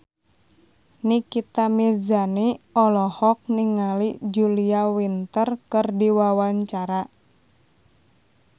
Nikita Mirzani olohok ningali Julia Winter keur diwawancara